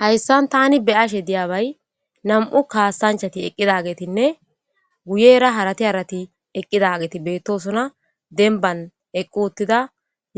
hayssan tani beyashe diyabay nam7u kaasanchati eqqidagetinne guyera harati harati eqqidageeti beettosona denban eqqu uttida